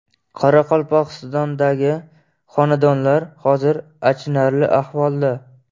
Qoraqalpog‘istondagi xonandalar hozir achinarli ahvolda.